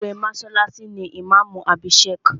Olórí mọ́sálásí ni ìmáàmù àbí Sheikh